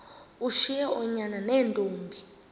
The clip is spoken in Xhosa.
ushiye oonyana neentombi